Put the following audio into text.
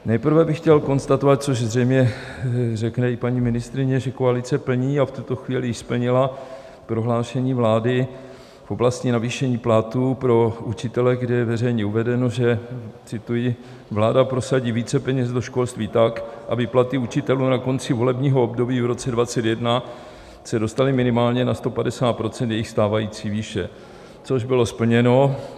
Nejprve bych chtěl konstatovat, což zřejmě řekne i paní ministryně, že koalice plní a v tuto chvíli již splnila prohlášení vlády v oblasti navýšení platů pro učitele, kde je veřejně uvedeno, že, cituji: "vláda prosadí více peněz do školství tak, aby platy učitelů na konci volebního období v roce 2021 se dostaly minimálně na 150 % jejich stávající výše, což bylo splněno.